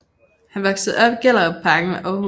Han voksede op i Gellerupparken ved Århus